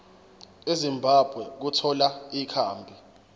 ezimbabwe ukuthola ikhambi